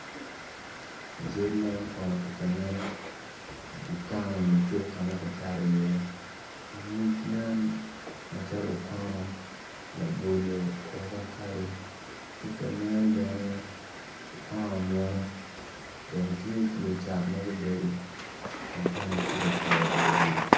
I cal man kono tye ka nen dukan nyo cuk ka ma kicato iye nyig yen macalo okono labolo ovacado tye ka nen bene okono muno dong tye ki lucat ma gubedo kun tena gitye ka kuro luwil.